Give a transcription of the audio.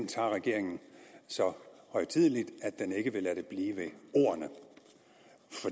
tager regeringen så højtideligt at den ikke vil lade det blive ved ordene